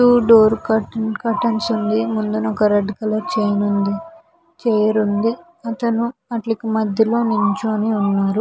చుట్టూ door curtains curtain ఉంది. ముందున ఓకే రెడ్ కలర్ చైర్ ఉంది. చైర్ ఉంది. అతను వాటికి మధ్యలో నించుని ఉన్నాడు.